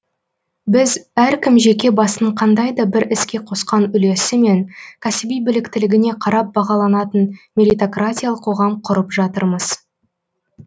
біз әркім жеке басының қандай да бір іске қосқан үлесі мен кәсіби біліктілігіне қарап бағаланатын меритократиялық қоғам құрып жатырмыз